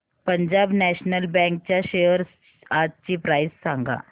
Punjab national bank च्या shares आजची price सांगा